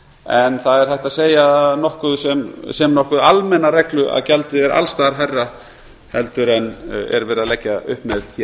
en það er hægt að segja sem nokkuð almenna reglu að gjaldið er alls staðar hærra en lagt er upp með hér